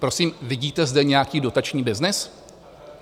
Prosím, vidíte zde nějaký dotační byznys?